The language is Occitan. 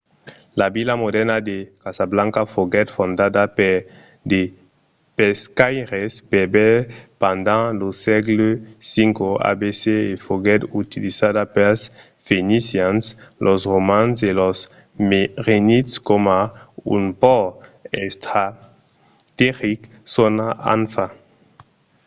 la vila modèrna de casablanca foguèt fondada per de pescaires berbèrs pendent lo sègle x abc e foguèt utilizada pels fenicians los romans e los merenids coma un pòrt estrategic sonat anfa